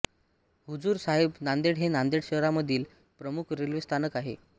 हुजूर साहेब नांदेड हे नांदेड शहरामधील प्रमुख रेल्वे स्थानक आहे